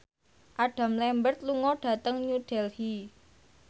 Adam Lambert lunga dhateng New Delhi